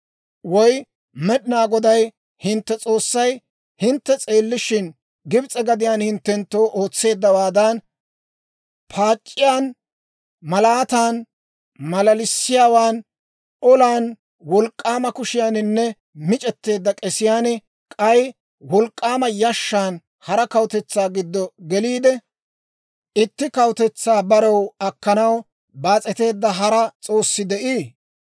Woy Med'inaa Goday hintte S'oossay hintte s'eellishin, Gibs'e gadiyaan hinttenttoo ootseeddawaadan, paac'iyaan, malaatan, malalisiyaawan, olan wolk'k'aama kushiyaaninne mic'etteedda k'esiyaan, k'ay wolk'k'aama yashshan hara kawutetsaa giddo geliide, itti kawutetsaa barew akkanaw baas'eteedda hara s'oossi de'ii?